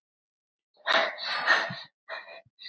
Ég veit það ekki ennþá.